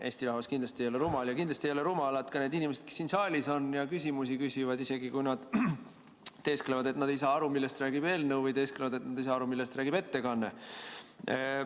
Eesti rahvas kindlasti ei ole rumal ja kindlasti ei ole rumalad ka need inimesed, kes siin saalis on ja küsimusi küsivad, isegi kui nad teesklevad, et nad ei saa aru, millest räägib eelnõu, või teesklevad, et nad ei saa aru, millest räägib ettekanne.